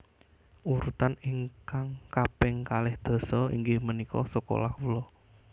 Urutan ingkapng kaping kalih dasa inggih menika sekolah kulo